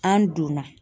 An donna